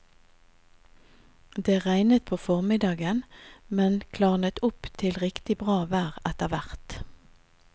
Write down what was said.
Det regnet på formiddagen, men klarnet opp til riktig bra vær etterhvert.